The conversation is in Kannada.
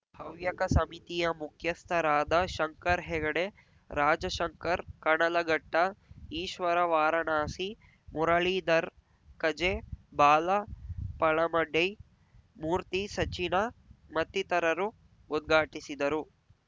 ಹವ್ಯಕ ಸಮಿತಿಯ ಮುಖ್ಯಸ್ಥರಾದ ಶಂಕರ್ ಹೆಗಡೆ ರಾಜಾಶಂಕರ್ ಕಣಗಲಘಟ್ಟ ಈಶ್ವರ ವಾರಣಾಸಿ ಮುರಳೀಧರ್ ಕಜೆ ಬಾಲ ಪಳಮಡೈ ಮೂರ್ತಿ ಸಚಿನ ಮತ್ತಿತರರು ಉದ್ಘಾಟಿಸಿದರು